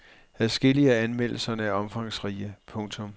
Adskillige af anmeldelserne er omfangsrige. punktum